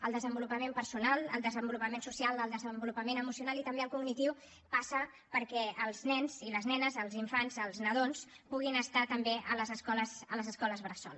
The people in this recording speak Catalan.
el desenvolupament personal el desenvolupament social el desenvolupament emocional i també el cognitiu passen perquè els nens i les nenes els infants els nadons puguin estar també a les escoles bressol